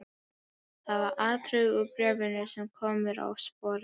Það var atriði úr bréfinu sem kom mér á sporið.